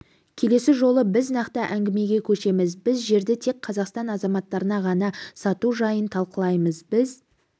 келесі жолы біз нақты әңгімеге көшеміз біз жерді тек қазақстан азаматтарына ғана сату жайын талқылаймыз біз